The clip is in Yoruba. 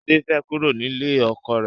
Sade fẹ́ kúrò nílé ọkọ rẹ̀